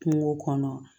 Kungo kɔnɔ